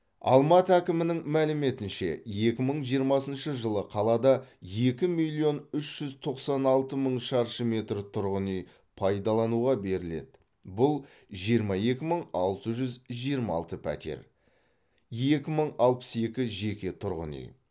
алматы әкімінің мәліметінше екі мың жиырмасыншы жылы қалада екі миллион үш жүз тоқсан алты мың шаршы метр тұрғын үй пайдалануға беріледі бұл жиырма екі мың алты жүз жиырма алты пәтер екі мың алпыс екі жеке тұрғын үй